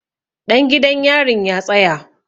Ɗan gidan yarin ya tsaya!